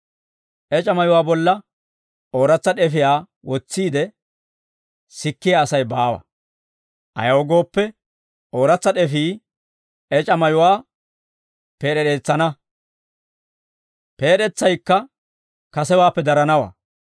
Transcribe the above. «Ec'a mayuwaa bolla ooratsa d'efiyaa wotsiide sikkiyaa Asay baawa; ayaw gooppe, ooratsa d'efii ec'a mayuwaa peed'ereetsana; peed'etsaykka kasewaappe daranawaa.